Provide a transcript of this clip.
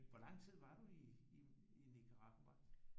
Hvor lang tid var du i Nicaragua